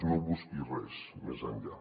no busqui res més enllà